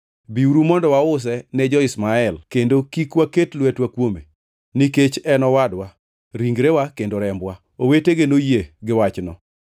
Biuru mondo wause ne jo-Ishmael kendo kik waket lwetwa kuome; nikech en owadwa, ringrewa kendo rembwa.” Owetege noyie giwachno.